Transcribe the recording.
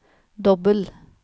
dobbel